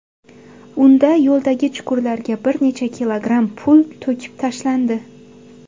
Unda yo‘ldagi chuqurlarga bir necha kilogramm pul to‘kib tashlandi.